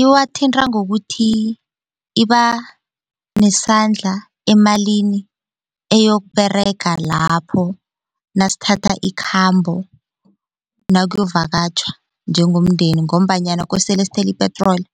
Iwathinta ngokuthi iba nesandla emalini eyokuberega lapho nasithatha ikhambo nakuyovakatjhwa njengomndeni ngombanyana kosele sithelo ipetroli